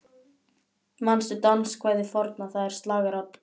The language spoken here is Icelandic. Manstu danskvæðið forna, það er slagarann